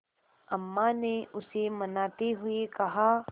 अम्मा ने उसे मनाते हुए कहा